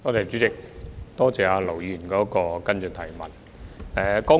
主席，多謝盧議員提出的補充質詢。